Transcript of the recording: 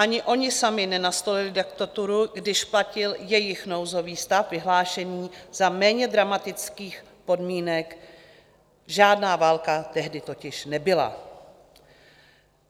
Ani oni sami nenastolili diktaturu, když platil jejich nouzový stav vyhlášený za méně dramatických podmínek, žádná válka tehdy totiž nebyla.